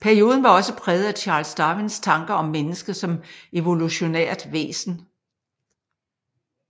Perioden var også præget af Charles Darwins tanker om mennesket som evolutionært væsen